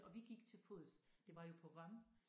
Og vi gik til fods det var jo på rømme